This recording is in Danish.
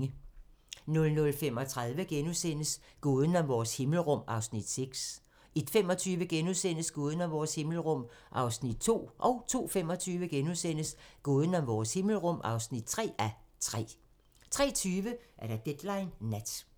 00:35: Gåden om vores himmelrum (1:3)* 01:25: Gåden om vores himmelrum (2:3)* 02:25: Gåden om vores himmelrum (3:3)* 03:20: Deadline Nat